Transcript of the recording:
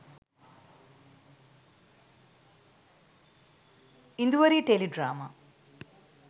induwari teledrama